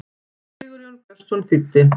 Sigurjón Björnsson þýddi.